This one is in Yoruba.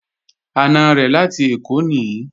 Àna rẹ̀ láti Èkó nìí